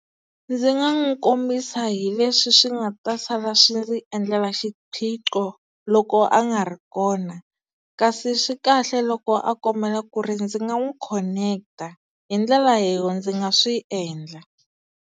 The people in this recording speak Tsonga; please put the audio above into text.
Ndzi nga n'wi kombisa hi leswi swi nga ta sala swi ndzi endlela xiphiqo loko a nga ri kona, kasi swi kahle loko a kombela ku ri ndzi nga n'wi khoneketa hi ndlela leyo ndzi nga swi endla.